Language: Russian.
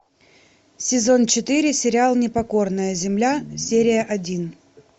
сезон четыре сериал непокорная земля серия один